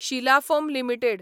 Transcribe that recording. Shila foam limited